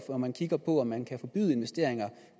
hvor man kigger på om man kan forbyde investeringer